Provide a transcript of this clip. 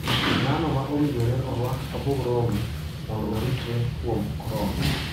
Ng'ano ma owinjore orwak mask mondo oritgi kuom corona?